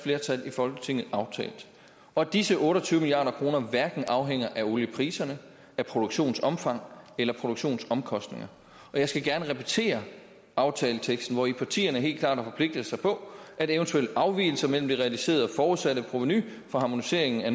flertal i folketinget aftalt og disse otte og tyve milliard kroner afhænger hverken af oliepriserne af produktionens omfang eller af produktionens omkostninger jeg skal gerne repetere aftaleteksten hvori partierne helt klart har forpligtet sig på at eventuelle afvigelser mellem det realiserede og det forudsatte provenu fra harmoniseringen af